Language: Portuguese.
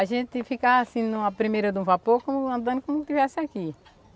A gente ficava assim, na primeira do vapor, como andando como se estivesse aqui.